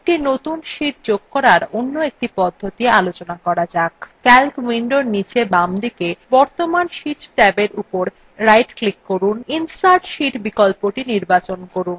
একটি নতুন sheet যোগ করার অন্য একটি পদ্ধতি জানা যাক calc window নীচে বামদিকে বর্তমান sheet ট্যাবের উপর ডান ক্লিক করুন এবং insert sheet বিকল্পটি নির্বাচন করুন